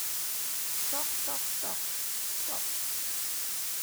Tok tok tok tok!